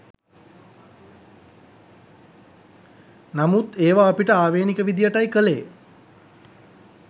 නමුත් ඒවා අපිට ආවේණික විදියටයි කළේ